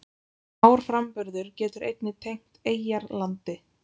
Árframburður getur einnig tengt eyjar landi.